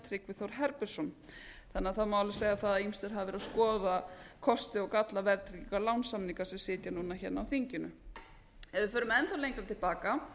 tryggvi þór herbertsson það má því alveg segja það að ýmsir hafa verið að skoða kosti og galla verðtrygginga lánasamninga sem sitja núna hérna á þinginu ef við förum enn þá lengra til baka